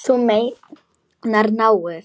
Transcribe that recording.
Þú meinar náið?